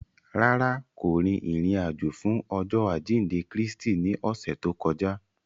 Rárá, ko rin irin-ajo fun Ọjọ ajinde Kristi ni ọsẹ to kọja.